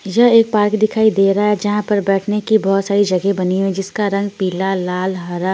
यह एक पार्क दिखाई दे रहा है जहां पर बैठने की बहोत सारी जगह बनी हुई जिसका रंग पीला लाल हरा--